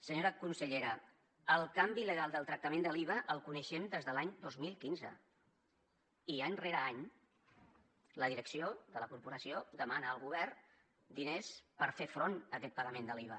senyora consellera el canvi legal del tractament de l’iva el coneixem des de l’any dos mil quinze i any rere any la direcció de la corporació demana al govern diners per fer front a aquest pagament de l’iva